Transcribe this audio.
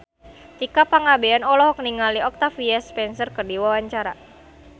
Tika Pangabean olohok ningali Octavia Spencer keur diwawancara